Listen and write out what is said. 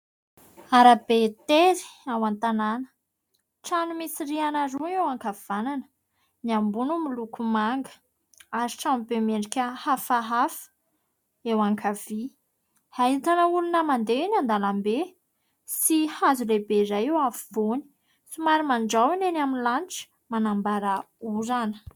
Arabe tery ao an-tanàna. Trano misy rihana roa eo ankavanana, ny ambony miloko manga ary tranobe miendrika hafahafa eo ankavia. Ahitana olona mandeha eny an-dalambe sy hazo lehibe iray eo afovoany. Somary mandraona eny amin'ny lanitra manambara orana.